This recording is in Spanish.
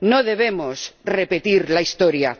No debemos repetir la historia.